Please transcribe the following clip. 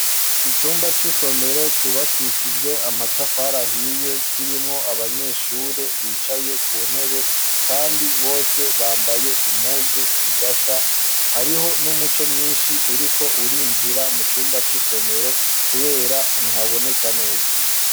Icumba c'isomero cubakishijwe amatafarahiye kirimwo abanyeshure bicaye ku ntebe, kandi bose bambaye impuzu zidasa hariho n'umuco mwinshi uri ko urinjira mu cumba c'isomero, kubera ntihaboneka neza.